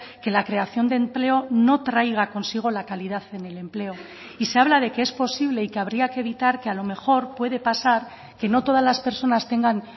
que la creación de empleo no traiga consigo la calidad en el empleo y se habla de que es posible y que habría que evitar que a lo mejor puede pasar que no todas las personas tengan